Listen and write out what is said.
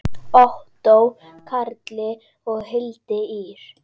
Ottó Karli og Hildi Ýr.